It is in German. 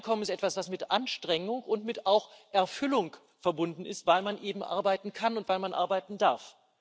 Ein Einkommen ist etwas, das mit Anstrengung und auch mit Erfüllung verbunden ist, weil man eben arbeiten kann und weil man arbeiten darf.